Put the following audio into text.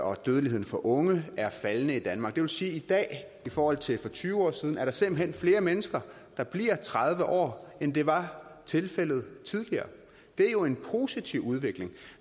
og dødeligheden for unge er faldende i danmark det vil sige at i dag i forhold til for tyve år siden er der simpelt hen flere mennesker der bliver tredive år end det var tilfældet tidligere det er jo en positiv udvikling